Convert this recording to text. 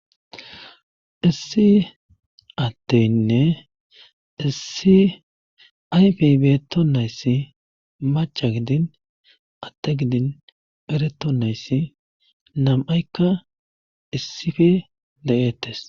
issi atteynne issi ayfeybetonayssi macha gidin atte gidin beretonayssi nam7aykka issife le7eettes